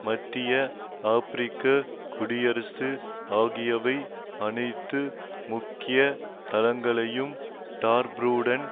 மத்திய ஆபிரிக்க குடியரசு ஆகியவை அனைத்து முக்கிய தளங்களையும் டார்பூருடன்